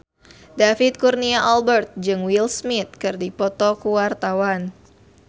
David Kurnia Albert jeung Will Smith keur dipoto ku wartawan